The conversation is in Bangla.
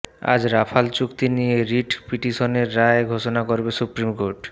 আজ রাফাল চুক্তি নিয়ে রিট পিটিশনের রায় ঘোষণা করবে সুপ্রিম কোর্ট